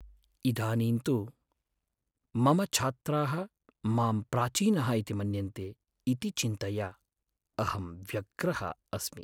इदानीं तु, मम छात्राः मां प्राचीनः इति मन्यन्ते इति चिन्तया अहं व्यग्रः अस्मि।